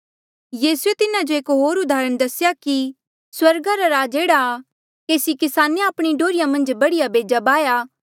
यीसूए तिन्हा जो एक होर उदाहरण दसेया कि स्वर्गा रा राज एह्ड़ा आ केसी किसाने आपणी डोहर्रिया मन्झ बढ़िया बेजा बाह्या